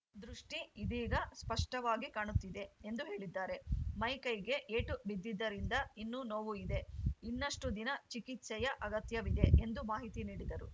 ದೃಷ್ಟಿಇದೀಗ ಸ್ಪಷ್ಟವಾಗಿ ಕಾಣುತ್ತಿದೆ ಎಂದು ಹೇಳಿದ್ದಾರೆ ಮೈಕೈಗೆ ಏಟು ಬಿದ್ದಿದ್ದರಿಂದ ಇನ್ನೂ ನೋವು ಇದೆ ಇನ್ನಷ್ಟುದಿನ ಚಿಕಿತ್ಸೆಯ ಅಗತ್ಯವಿದೆ ಎಂದು ಮಾಹಿತಿ ನೀಡಿದರು